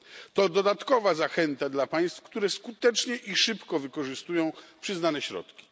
To dodatkowa zachęta dla państw, które skutecznie i szybko wykorzystują przyznane środki.